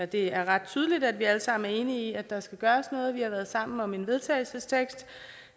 det er ret tydeligt at vi alle sammen er enige i at der skal gøres noget og vi har været sammen om en vedtagelsestekst